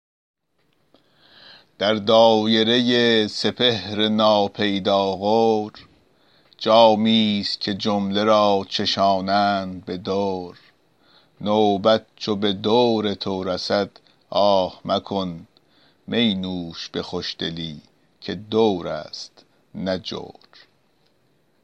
در دایره سپهر ناپیدا غور جامی ست که جمله را چشانند به دور نوبت چو به دور تو رسد آه مکن می نوش به خوشدلی که دور است نه جور